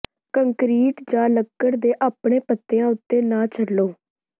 concrete ਜਾਂ ਲੱਕੜ ਤੇ ਆਪਣੇ ਪਤਿਆਂ ਉੱਤੇ ਨਾ ਚੱਲੋ